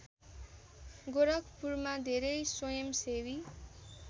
गोरखपुरमा धेरै स्वयंसेवी